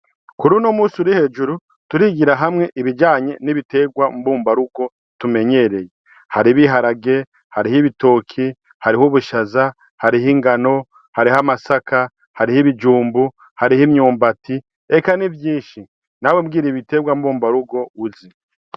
kuruno munsi urihejuru turigira hamwe ibijanye n'ibiterwa mbumbarugo tumenyereye hariho ibiharage ,hariho ibitoki ,hariho ubushaza ,hariho ingano ,hariho amasaka hariho ibijumbu ,hariho imyumbati eka n'ivyishi.. nawe mbwira ibiterwa mbumba rugo uzi.